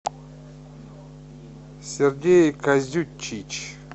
сергей козючич